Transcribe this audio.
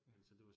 Ja